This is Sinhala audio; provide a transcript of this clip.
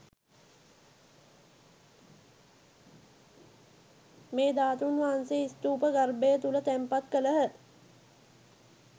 මේ ධාතූන් වහන්සේ ස්තූප ගර්භය තුළ තැන්පත් කළහ.